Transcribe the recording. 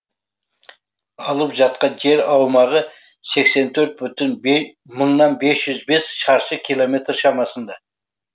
алып жатқан жер аумағы сексен төрт бүтін мыңнан бес жүз бес шаршы километр шамасында